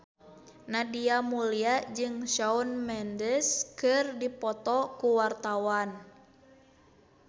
Nadia Mulya jeung Shawn Mendes keur dipoto ku wartawan